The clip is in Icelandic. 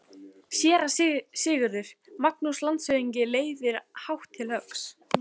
SÉRA SIGURÐUR: Magnús landshöfðingi reiðir hátt til höggs.